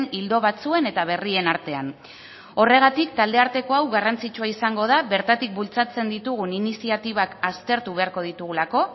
ildo batzuen eta berrien artean horregatik taldearteko hau garrantzitsua izango da bertatik bultzatzen ditugun iniziatibak aztertu beharko ditugulako